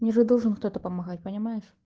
мне же должен кто-то помогает понимаешь